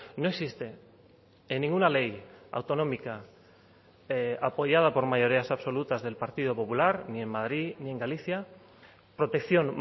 no existe en ninguna ley autonómica apoyada por mayorías absolutas del partido popular ni en madrid ni en galicia protección